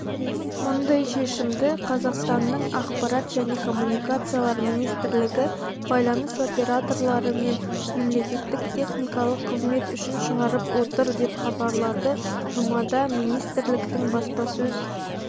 мұндай шешімді қазақстанның ақпарат және коммуникациялар министрлігі байланыс операторлары мен мемлекеттік техникалық қызмет үшін шығарып отыр деп хабарлады жұмада министрліктің баспасөз